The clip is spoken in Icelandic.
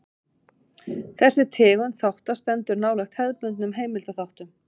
Þessi tegund þátta stendur nálægt hefðbundnum heimildaþáttum.